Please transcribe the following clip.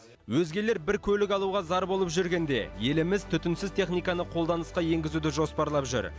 өзгелер бір көлік алуға зар болып жүргенде еліміз түтінсіз техниканы қолданысқа енгізуді жоспарлап жүр